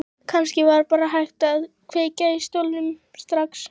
Kannski var bara hægt að kveikja í stólnum strax.